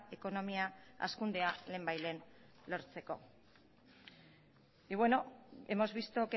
ekonomia hazkundea lehenbailehen lortzeko y bueno hemos visto